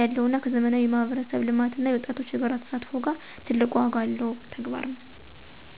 ያለው እና ከዘመናዊ የማህበረሰብ ልማት እና የወጣቶች የጋራ ተሳትፎ ጋራ ትልቅ ዋጋ ያለው ተግባር ነው።